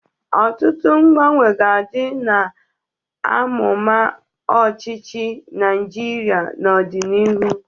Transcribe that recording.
Ọtụtụ mgbanwe ga-adị n'amụma ọchịchị Naịjirịa n'ọdịnihu.